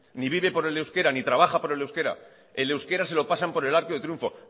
ni vive por el euskera ni trabaja por el euskera el euskera se lo pasan por el arco del triunfo